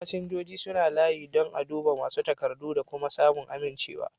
Fasinjojin suna yin layi don a duba masu takardu da kuma samun amincewa.